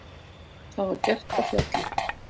Það var gert á Fjalli.